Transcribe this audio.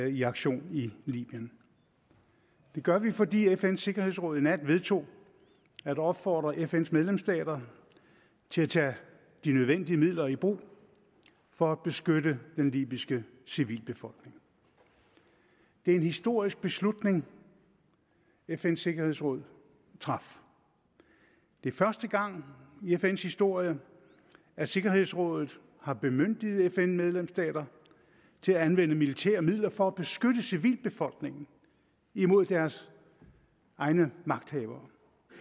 i aktion i libyen det gør vi fordi fns sikkerhedsråd i nat vedtog at opfordre fns medlemsstater til at tage de nødvendige midler i brug for at beskytte den libyske civilbefolkning det er en historisk beslutning fn’s sikkerhedsråd traf det er første gang i fn’s historie at sikkerhedsrådet har bemyndiget fn medlemsstater til at anvende militære midler for at beskytte civilbefolkningen imod deres egne magthavere